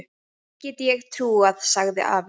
Því get ég trúað, sagði afi.